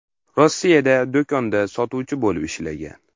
Rossiyada do‘konda sotuvchi bo‘lib ishlagan.